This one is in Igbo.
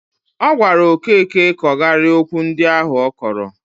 Ọ gwara Okeke kọgarịa okwu ndi ahụ ọ kọrọ